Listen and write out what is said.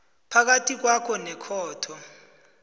phakathi kwakho nekhotho